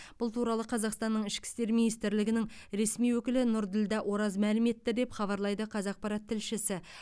бұл туралы қазақстанның ішкі істер министрлігінің ресми өкілі нұрділдә ораз мәлім етті деп хабарлайды қазақпарат тілшісі